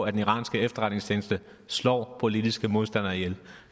at den iranske efterretningstjeneste slår politiske modstandere ihjel